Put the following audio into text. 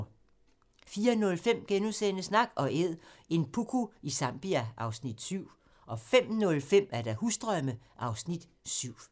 04:05: Nak & Æd - en puku i Zambia (Afs. 7)* 05:05: Husdrømme (Afs. 7)